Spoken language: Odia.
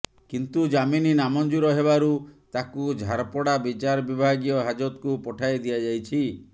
କିନ୍ତୁ ଜାମିନ୍ ନାମଞ୍ଜୁର ହେବାରୁ ତାକୁ ଝାରପଡ଼ା ବିଚାର ବିଭାଗୀୟ ହାଜତକୁ ପଠାଇ ଦିଆଯାଇଛି